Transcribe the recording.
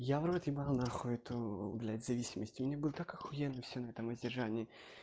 я в рот ебал нахуй эту блять зависимости мне было так ахуенно всё на этом воздержании